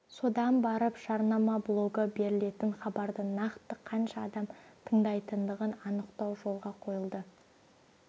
содан барып жарнама блогы берілетін хабарды нақты қанша адам тыңдайтындығын анықтау жолға қойылды